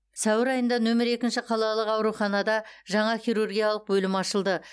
сәуір айында нөмірі екінші қалалық ауруханада жаңа хирургиялық бөлім ашылды